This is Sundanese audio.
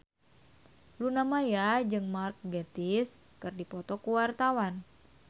Luna Maya jeung Mark Gatiss keur dipoto ku wartawan